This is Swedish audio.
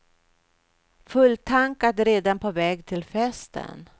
Fulltankad redan på väg till festen.